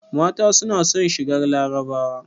Mata suna son shigar larabawa